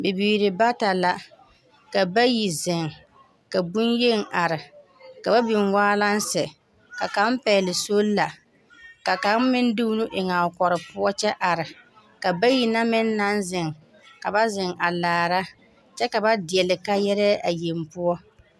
Bibiiri bata la ka bayi zeŋ ka bonyeni are ka ba biŋ walense ka kaŋ pɛgle sola ka kaŋ meŋ de o nu eŋ a kɔre poɔ kyɛ are ka bayi na meŋ naŋ zeŋ ka ba zeŋ a laara kyɛ ka ba deɛle kaayɛrɛɛ a yeŋ poɔ.